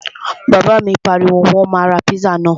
Bàbá mi pariwo, Wọ́n máa ra píṣà náà!